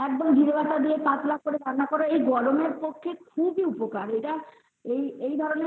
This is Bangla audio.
একবারে জিরে পাতা দিয়ে পাতলা করে রান্না করো এই গরমে খুবই উপকারী এটা এই ধরণের